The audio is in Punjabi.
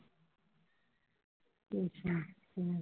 ਅੱਛਾ ਹਮ